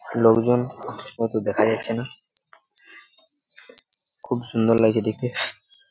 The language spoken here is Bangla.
লোকজওন ওতো দেখা যাচ্ছে না। খুঊব সুন্দর লাগছে দেখতে ।